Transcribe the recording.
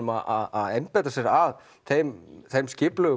að einbeita sér að þeim þeim